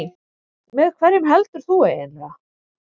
Með hverjum heldur þú eiginlega?